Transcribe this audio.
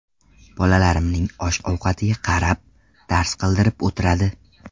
Bolalarimning osh-ovqatiga qarab, dars qildirib o‘tiradi.